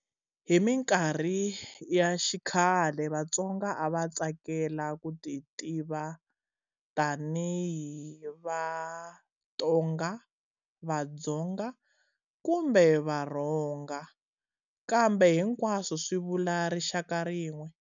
Hi minkarhi ya xikhale, Vatsonga a va tsakela ku ti tiva tanihi"va Tonga","Vadzonga", kumbe"va Rhonga", kambe hinkwaswo swi vula rixaka rin'we.